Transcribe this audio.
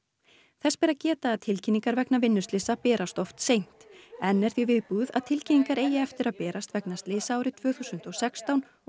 þess ber að geta að tilkynningar vegna vinnuslysa berast oft seint enn er því viðbúið að tilkynningar eigi eftir að berast vegna slysa árið tvö þúsund og sextán og